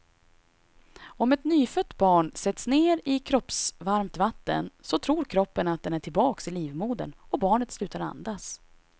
Om ett nyfött barn sätts ner i kroppsvarmt vatten, så tror kroppen att den är tillbaka i livmodern och barnet slutar andas.